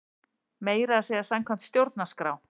Meira að segja samkvæmt stjórnarskrá!